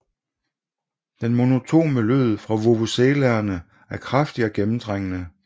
Den monotone lyd fra vuvuzelaerne er kraftig og gennemtrængende